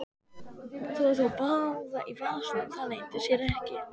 Hún hafði þá báða í vasanum, það leyndi sér ekki.